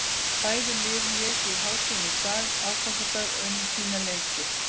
Bæði lið léku í hádeginu í dag, aðfangadag, og unnu sína leiki.